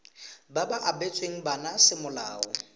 ba ba abetsweng bana semolao